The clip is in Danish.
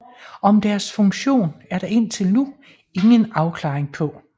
Om deres funktion er der indtil nu ingen afklaring på